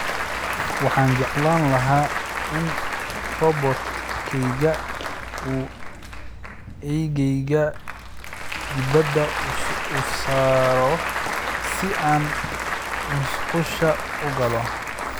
Waxaan jeclaan lahaa in robot-kaygu uu eygeyga dibadda u saaro si aan musqusha u galo